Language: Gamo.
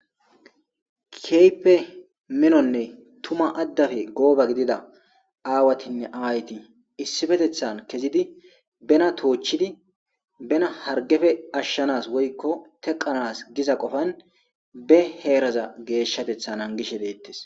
Keehippe miinnonne tuma addappe goobba gidida aawattinne ayetti issipetethan kezidi benna toochchidi benna harggeppe ashshanas woykko teeqanas giza qoopan be geeshshateththa naagishe deetes